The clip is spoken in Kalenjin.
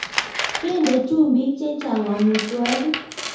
Kende chumbiik chechang amitwokik